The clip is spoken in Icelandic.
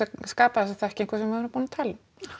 skapa þessa þekkingu sem við erum að tala um